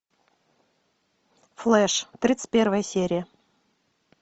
флеш тридцать первая серия